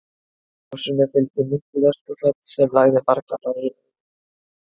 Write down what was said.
Gosinu fylgdi mikið öskufall sem lagði marga bæi í eyði.